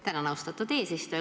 Tänan, austatud eesistuja!